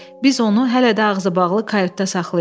Biz onu hələ də ağzıbağlı kayutda saxlayırıq.